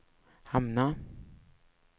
hamna